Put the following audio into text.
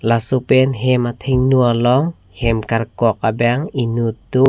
laso pen hem athengno along hem karkok abang inut do.